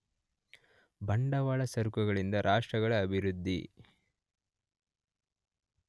ಬಂಡವಾಳ ಸರಕುಗಳಿಂದ ರಾಷ್ಟ್ರಗಳ ಅಭಿವೃದ್ಧಿ.